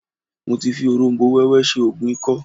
Mo ti fi òróm̀bó wẹ́wẹ́ ṣe oògùn ikọ́